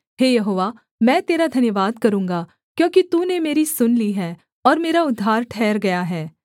हे यहोवा मैं तेरा धन्यवाद करूँगा क्योंकि तूने मेरी सुन ली है और मेरा उद्धार ठहर गया है